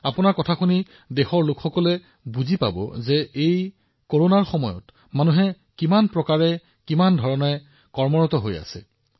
আপোনাৰ কথা শুনিলে দেশৰ মানুহে এই কৰোনা যুদ্ধত কোনে কেনেদৰে কাম কৰি আছে সেয়াও অনুভৱ কৰিব পাৰিব